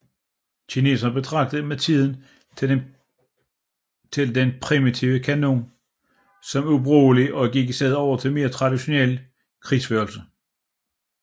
Kineserne betragtede med tiden den primitive kanon som ubrugelig og gik i stedet over til mere traditionel krigsførelse